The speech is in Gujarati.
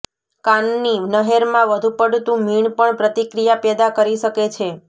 કાનની નહેરમાં વધુ પડતું મીણ પણ પ્રતિક્રિયા પેદા કરી શકે છે